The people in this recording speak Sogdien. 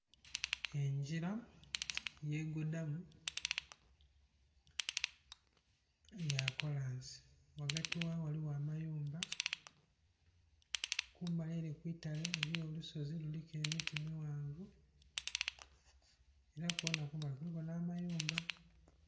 Engyira yegodhamu ya kolansi ghagati ghaayo ghaliwo amayumba kumbali ere kwitale eliyo olusozi luliku emiti mighanvu era kwona kumbali kuliku n'amayumba